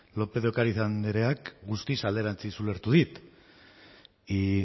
lópez de ocariz andreak guztiz alderantziz ulertu dit y